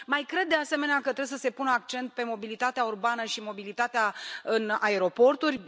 Mai cred, de asemenea, că trebuie să se pună accent pe mobilitatea urbană și mobilitatea în aeroporturi.